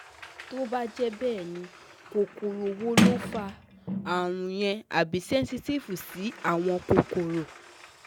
Tó bá jẹ́ bẹ́ẹ̀ ni, kokoro wo ló fa àrùn yẹn àbí sensitive sí àwọn kòkòrò